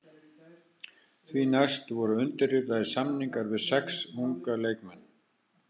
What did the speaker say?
Því næst voru undirritaðir samningar við sex unga leikmenn.